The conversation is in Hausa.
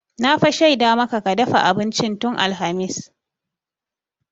Na fa shaida maka ka dafa abincin tun alhamis.